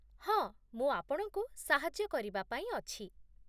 ହଁ, ମୁଁ ଆପଣଙ୍କୁ ସାହାଯ୍ୟ କରିବା ପାଇଁ ଅଛି ।